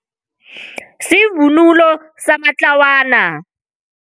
Sivunulo samatlawana.